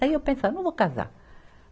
Daí eu pensava, não vou casar.